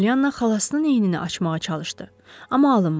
Pollyana xalasının əynini açmağa çalışdı, amma alınmadı.